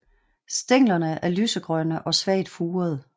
Stænglerne er lysegrønne og svagt furede